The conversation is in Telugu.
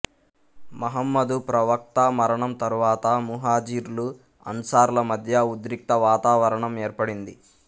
మహమ్మదు ప్రవక్త మరణం తరువాత ముహాజిర్లు అన్సార్ లమధ్య ఉద్రిక్తవాతావరణం ఏర్పడింది